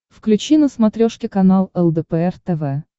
включи на смотрешке канал лдпр тв